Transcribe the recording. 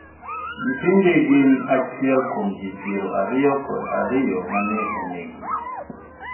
nyithindi gin achiel kuo ji piero ariyo kod ariyo ma ne onegi